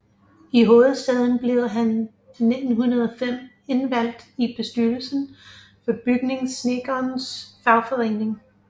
I hovedstaden blev han 1905 indvalgt i bestyrelsen for Bygningssnedkernes Fagforening